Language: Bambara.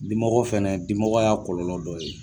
Dimɔgɔ fɛnɛ dimɔgɔ y'a kɔlɔlɔ dɔ ye